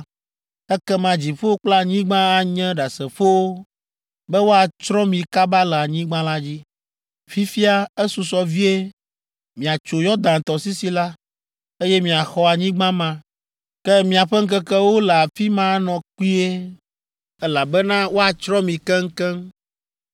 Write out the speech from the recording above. ekema dziƒo kple anyigba anye ɖasefowo be woatsrɔ̃ mi kaba le anyigba la dzi. Fifia, esusɔ vie miatso Yɔdan tɔsisi la, eye miaxɔ anyigba ma. Ke miaƒe ŋkekewo le afi ma anɔ kpuie, elabena woatsrɔ̃ mi keŋkeŋ.